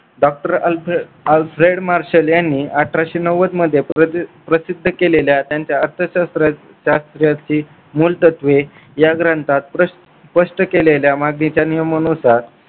doctor Alfred Marshall यांनी अठराशे नव्वदमध्ये प्रसिद्ध केलेल्या त्यांच्या अर्थशास्त्रात शास्त्राची मुलतत्वे या ग्रंथात स्पष्ट केलेल्या मागणीच्या नियमानुसार